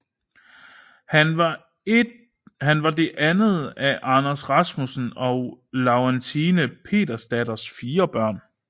Han var det andet af Anders Rasmussen og Laurentine Petersdatters fire børn